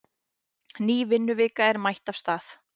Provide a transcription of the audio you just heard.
Ný vinnuvika er mætt af stað.